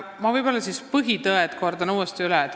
Ma võib-olla kordan põhitõed uuesti üle.